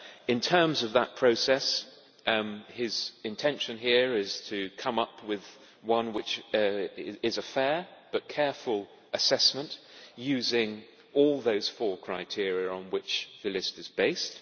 In terms of that process, his intention here is to come up with one which is a fair but careful assessment using all those four criteria on which the list is based.